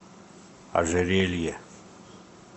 ожерелье